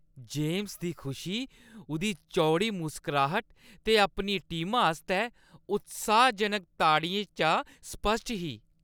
James दी खुशी उʼदी चौड़ी मुसकराह्ट ते अपनी टीमा आस्तै उत्साहजनक ताड़ियें चा स्पश्ट ही।